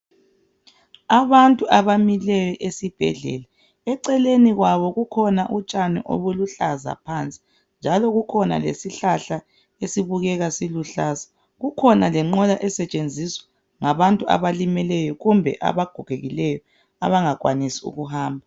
Abantu abamileyo esibhedlela. Eceleni kwabo kukhona utshani obuluhlaza phansi. Njalo kukhona lesishlahla esibukeka siluhlaza. Kukhona lenqola esetshenziswa ngabantu abalimeleyo kumbe abagogekileyo abangakwanisi ukuhamba.